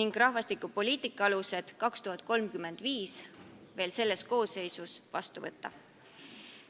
ning "Rahvastikupoliitika põhialused aastani 2035" veel selle koosseisu ajal vastu võtta.